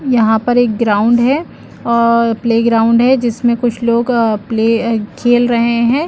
यहाँ पर एक ग्राउंड है और प्ले ग्राउंड है जिसमे कुछ लोग अ प्ले अ खेल रहे है।